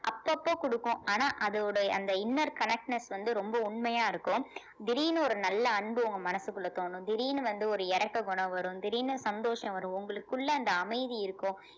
அப்பப்ப கொடுக்கும் ஆனா அதோட அந்த inner connectness வந்து ரொம்ப உண்மையா இருக்கும் திடீர்ன்னு ஒரு நல்ல அன்பு உங்க மனசுக்குள்ள தோணும் திடீர்ன்னு வந்து ஒரு இரக்க குணம் வரும் திடீர்ன்னு சந்தோஷம் வரும் உங்களுக்குள்ள அந்த அமைதி இருக்கும்